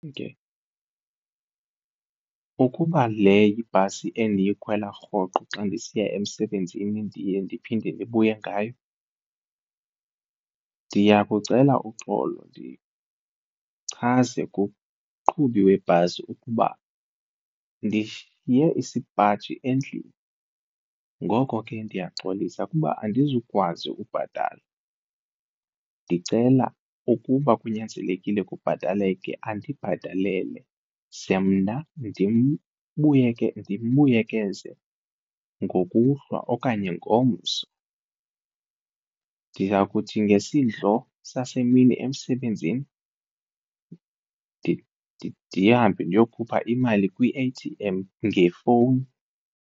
Ke ukuba le ibhasi endiyikhwela rhoqo xa ndisiya emsebenzini ndiye ndiphinde ndibuye ngayo ndiyakucela uxolo ndichaze kumqhubi webhasi ukuba ndishiye isipaji endlini ngoko ke ndiyaxolisa kuba andizukwazi ukubhatala ndicela ukuba kunyanzelekile kubhataleke andibhatalele ze mna ndimbuyekeze ngokuhlwa okanye ngomso. Ndiza kuthi ngesidlo sasemini emsebenzini ndihambe ndiyokhupha imali kwi-A_T_M ngefowuni.